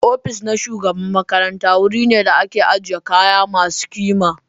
Ofis na shugaban makaranta wuri ne da ake ajiye kayan masu kima.